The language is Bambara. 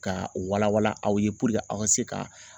Ka wala wala aw ye puruke aw ka se ka